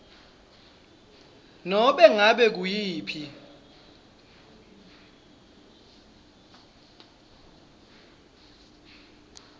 nobe ngabe nguyiphi